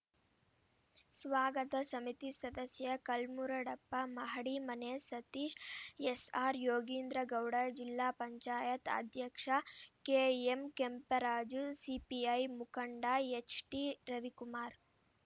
ಸ್ವಾಗತ ಸಮಿತಿ ಸದಸ್ಯ ಕಲ್ಮುರಡಪ್ಪ ಮಹಡಿಮನೆ ಸತೀಶ್‌ ಎಸ್‌ಆರ್‌ ಯೋಗೀಂದ್ರಗೌಡ ಜಿಲ್ಲಾ ಪಂಚಾಯತ್ ಅಧ್ಯಕ್ಷ ಕೆಎಂ ಕೆಂಪರಾಜು ಸಿಪಿಐ ಮುಖಂಡ ಎಚ್‌ಟಿ ರವಿಕುಮಾರ್‌